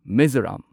Mizoram